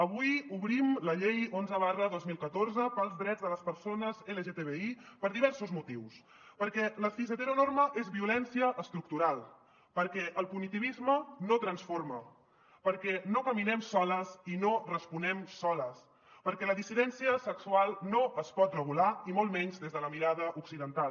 avui obrim la llei onze dos mil catorze pels drets de les persones lgtbi per diversos motius perquè la cisheteronorma és violència estructural perquè el punitivisme no transforma perquè no caminem soles i no responem soles perquè la dissidència sexual no es pot regular i molt menys des de la mirada occidental